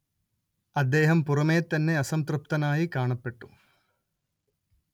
അദ്ദേഹം പുറമേ തന്നെ അസംതൃപ്തനായി കാണപ്പെട്ടു